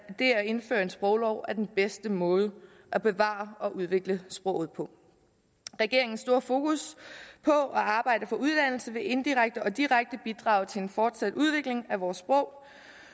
det at indføre en sproglov er den bedste måde at bevare og udvikle sproget på regeringens store fokus på at arbejde for uddannelse vil indirekte og direkte bidrage til en fortsat udvikling af vores sprog